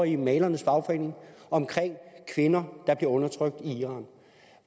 i malernes fagforening om kvinder der bliver undertrykt i iran